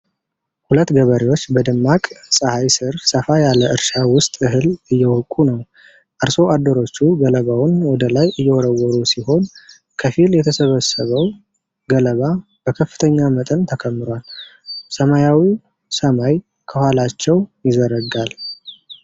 ሁለት ገበሬዎች በደማቅ ፀሐይ ስር ሰፋ ያለ እርሻ ውስጥ እህል እየወቁ ነው። አርሶ አደሮቹ ገለባውን ወደ ላይ እየወረወሩ ሲሆን፣ ከፊል የተሰበሰበው ገለባ በከፍተኛ መጠን ተከምሯል። ሰማያዊው ሰማይ ከኋላቸው ይዘረጋል።